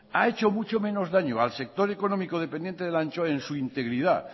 ha hecho mucho menos daño al sector económico dependiente de la anchoa en su integridad